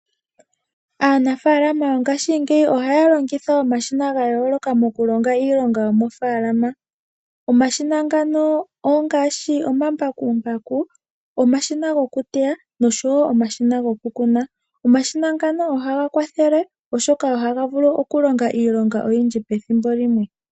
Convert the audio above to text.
Aanafaalama yongashingeyi ohaya longitha omashina gayooloka moku longa iilonga yomofaalama. Omashina ngano ongaashi omambakumbaku, omashina gokuteya osho wo omashina goku kuna. Omashina ngano ohaga kwathele oshoka ohaga vulu okulonga iilonga oyindji pethimbo limwe.